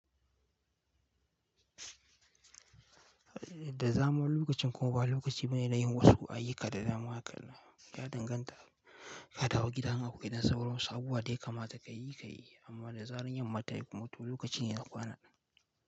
Da zamuwar lokacin kuma ba lokaci bane na yin wasu ayyuka da dama haka nan. Ya danganta, ka dawo gidama akwai ɗan sauran wasu abubuwa daya kamata ka yi, ka yi. Amma da zaran yanma tayi kuma to lokaci ne ya kwana ɗin.